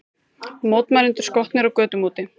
Mótmælendur skotnir á götum úti